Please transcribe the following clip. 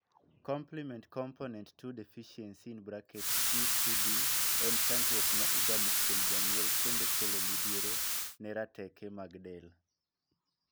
Complement component 2 deficiency (C2D) en chandruok ma igamo kuom janyuol kendo kelo midhiero ne rateke mag del.